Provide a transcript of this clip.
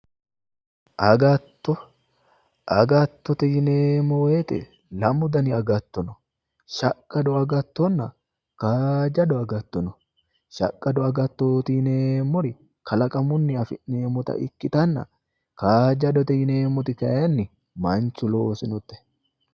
agatto agattote yineemmowoyite lamu dani agatto no shaqqado agattonna kaajjado agatto no shaqqado agattooti yineemmori kalaqamunni afi'neemmota ikkitanna kaajjadote yineemmoti kayinni manchu loosinote.